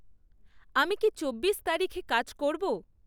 আমি কি চব্বিশ তারিখে কাজ করব?